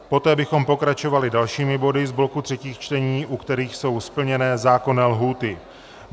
Poté bychom pokračovali dalšími body z bloku třetích čtení, u kterých jsou splněné zákonné lhůty.